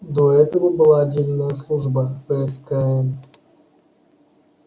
до этого была отдельная служба фскн